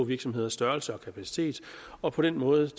virksomheders størrelse og kapacitet og på den måde